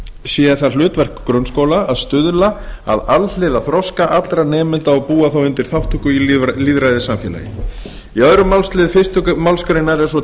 sé það hlutverk grunnskóla að stuðla að alhliða þroska allra nemenda og búa þá undir þátttöku í lýðræðissamfélagi í öðrum málsl fyrstu málsgrein er svo